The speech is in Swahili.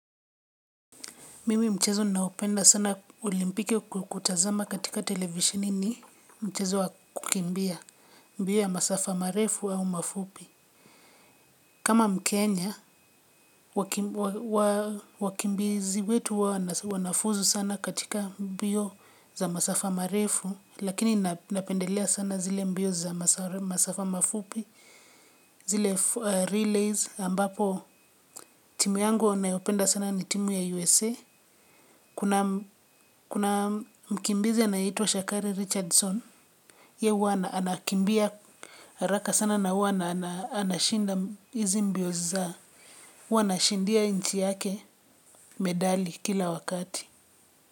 Mimi mchezo ninaopenda sana ulimpike kukutazama katika televisheni ni mchezo wakukimbia mbio ya masafa marefu au mafupi. Kama mkenya, wakimbizi wetu huwa wanafuzu sana katika mbio za masafa marefu, lakini napendelea sana zile mbio za masafa mafupi, zile relays ambapo timu yangu nayopenda sana ni timu ya USA kuna kuna mkimbizi anayeitwa Shakari Richardson, ye huwa anakimbia, haraka sana na huwa anashinda hizi mbio za, huwa anashindia nchi yake medali kila wakati.